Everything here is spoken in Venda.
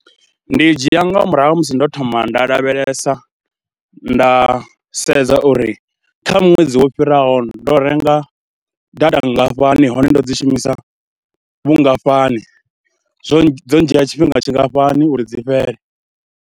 Ndi dzhia nga murahu ha musi ndo thoma nda lavhelesa, nda sedza uri kha ṅwedzi wo fhiraho ndo renga data nngafhani hone ndo dzi shumisa vhungafhani, zwo dzo ndzhia tshifhinga tshingafhani uri dzi fhele.